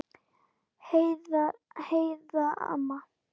Heiða amma.